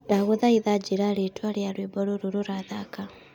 ndagũthaitha njĩĩra ritwa ria rwĩmbo rũrũ rurathaka